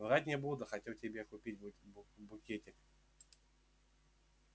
врать не буду хотел тебе купить букетик